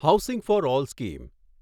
housing for all scheme